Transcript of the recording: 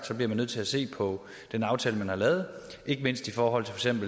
så bliver man nødt til at se på den aftale man har lavet ikke mindst i forhold til